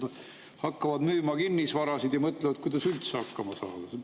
Nad hakkavad müüma kinnisvara ja mõtlevad, kuidas üldse hakkama saada.